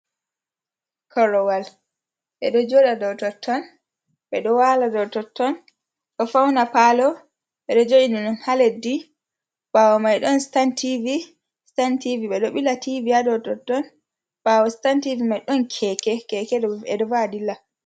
Korowal beɗo joɗo ɗow totton. be ɗo wala ɗow totton. Ɗo fauna palo. Beɗo joina on ha leɗɗi. Bawo mai ɗon sitan tivi. Sitan tivi beɗo bila tivi ya ɗo totton. Bawo sitan tivi mai ɗon keke keke ɗo va'a ɗilla.